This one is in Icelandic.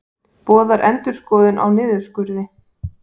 Boðar endurskoðun á niðurskurði